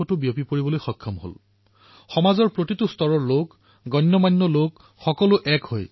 সমাজৰ প্ৰতিটো বৰ্গ চেলিব্ৰেটি সকলো জড়িত হৈ পৰিছে আৰু সমাজৰ চিন্তাধাৰা পৰিৱৰ্তনৰ এক নতুন আধুনিক ভাষাত যাক আজিৰ প্ৰজন্মই বুজি পায়